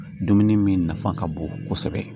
Dumuni min nafa ka bon kosɛbɛ